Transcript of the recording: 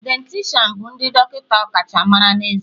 Dieticianu bụ ndị dọkịta ọkachamara na ezé